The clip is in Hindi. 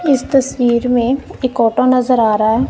इस तस्वीर में एक ऑटो नजर आ रहा है।